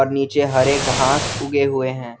नीचे हरे घास उगे हुए हैं।